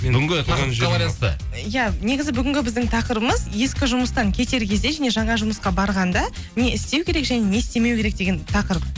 бүгінгі тақырыпқа байланысты иә негізі бүгінгі біздің тақырыбымыз ескі жұмыстан кетер кезде және жаңа жұмысқа барғанда не істеу керек және не істемеу керек деген тақырып